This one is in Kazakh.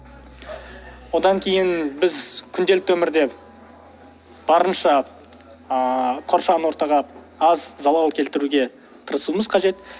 одан кейін біз күнделікті өмірде барынша ыыы қоршаған ортаға аз залал келтіруге тырысуымыз қажет